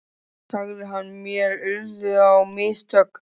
sagði hann, mér urðu á mistök.